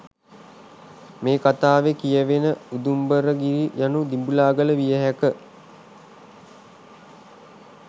මේ කතාවේ කියවෙන උදුම්බරගිරි යනු දිඹුලාගල විය හැක